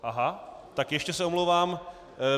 Aha, tak ještě se omlouvám.